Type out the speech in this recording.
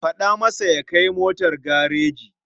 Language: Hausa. Faɗa masa ya kai motar gareji.